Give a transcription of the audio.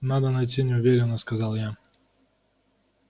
надо найти неуверенно сказал я